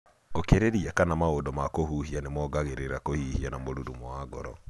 Ũkirĩria kana maũndũ ma kũhuhia nĩ mongeranga kũhihia na mũrurumo wa ngoro.